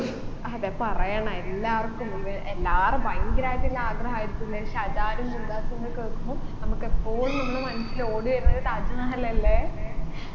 അതെ പറയണ എല്ലാവർക്കും ഉണ്ട് എല്ലാരും ഭയങ്കരായിട്ടുള്ള ആഗ്രഹായിരിക്കില്ലേ ഷാജഹാനും മുംതാസും എന്ന് കേക്കുമ്പം നമ്മുക്ക് എപ്പോഴും നമ്മളെ മനസ്സിൽ ഓടിവരുന്നത് താജ്‌മഹൽ അല്ലെ